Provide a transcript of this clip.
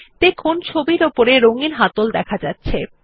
দেখুন ছবিটির উপরে রঙ্গিন হাতল দেখা যাচ্ছে